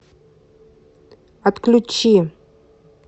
отключи